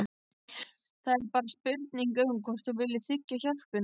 Það er bara spurning um hvort þú viljir þiggja hjálpina.